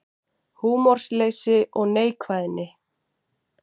Húmorsleysi og neikvæðni